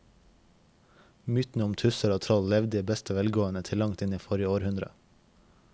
Mytene om tusser og troll levde i beste velgående til langt inn i forrige århundre.